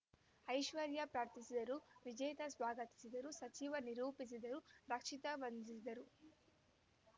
ಐಶ್ವರ್ಯ ಪ್ರಾರ್ಥಿಸಿದರು ವಿಜೇತಾ ಸ್ವಾಗತಿಸಿದರು ಸಜಿವ ನಿರೂಪಿಸಿದರು ರಕ್ಷಿತಾ ವಂದಿಸಿದರು